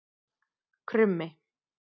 Krummi